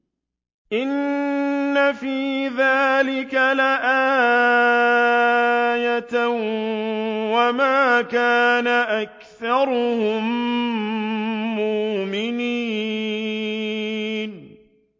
إِنَّ فِي ذَٰلِكَ لَآيَةً ۖ وَمَا كَانَ أَكْثَرُهُم مُّؤْمِنِينَ